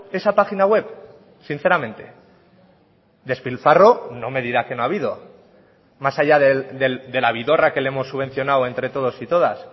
esa página web sinceramente despilfarro no me dirá que no ha habido más allá de la vidorra que le hemos subvencionado entre todos y todas